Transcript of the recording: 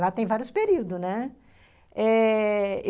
Lá tem vários períodos, né? eh... eu...